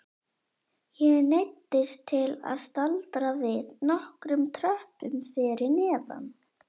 Ég neyddist til að staldra við nokkrum tröppum fyrir neðan.